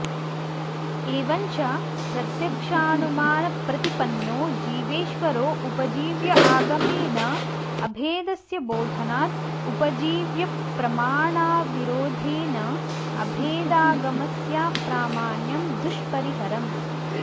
एवं च प्रत्यक्षानुमानप्रतिपन्नॊ जीवेश्वरॊ उपवीव्य आगमेन अभेदस्य बोधनात् उपजीव्यप्रमाणविरोधेन अभेदागमस्याप्रामाण्यं दुष्परिहरम्